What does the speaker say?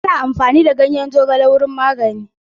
Ana amfani da ganyen zogale wajen magani.